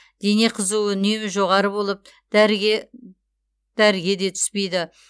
дене қызуы үнемі жоғары болып дәріге де түспейді